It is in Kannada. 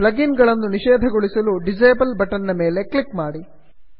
ಪ್ಲಗಿನ್ ಗಳನ್ನು ನಿಷೇಧಗೊಳಿಸಲು ಡಿಸೇಬಲ್ ಬಟನ್ ನ ಮೇಲೆ ಕ್ಲಿಕ್ ಮಾಡಿ